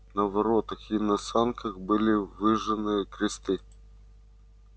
на воротах и на санках были выжжены кресты